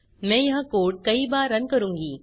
मैं यह कोड कई बार रन करूँगी